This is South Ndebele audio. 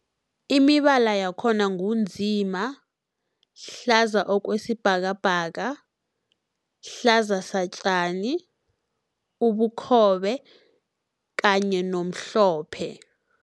Imibala yakhona ngu nzima, hlaza okwesibhakabhaka, hlaza satjani, ubukhobe kanye nomhlophe.